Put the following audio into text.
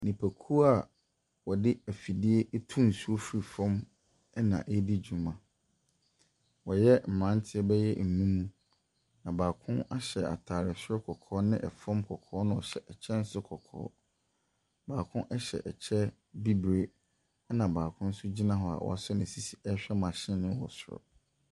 Nnipakuo a wɔde afidie tu nsuo fiti fam na ɛredi dwuma. Wɔyɛ mmeranteɛ bɛyɛ nnum, na baako no ahyɛ ataare soro kɔkɔɔ na fam kɔkɔɔ na ɔhyɛ kyɛ nso kɔkɔɔ. Na baako hyɛ kyɛ bibire na baako nso gyina hɔ a waso ne sisi ɛrehwɛ machine no wɔ soro.